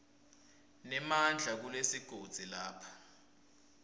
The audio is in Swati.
nemandla kulesigodzi lapho